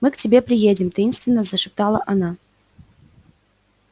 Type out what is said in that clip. мы к тебе приедем таинственно зашептала она